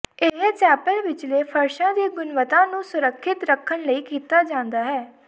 ਇਹ ਚੈਪਲ ਵਿਚਲੇ ਫਰਸ਼ਾਂ ਦੀ ਗੁਣਵੱਤਾ ਨੂੰ ਸੁਰੱਖਿਅਤ ਰੱਖਣ ਲਈ ਕੀਤਾ ਜਾਂਦਾ ਹੈ